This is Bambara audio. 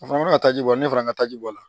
A fana bɛ ka taa ji bɔ ne fana ka taji bɔ a la